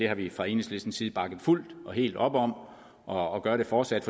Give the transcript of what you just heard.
har vi fra enhedslisten side bakket fuldt og helt om og gør det fortsat